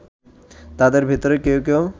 তাদের ভেতরে কেউ কেউ